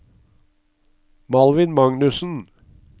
Malvin Magnussen